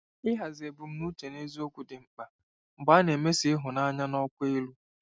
Ịhazi ebumnuche na eziokwu dị mkpa mgbe a na-emeso ịhụnanya n'ọkwa elu.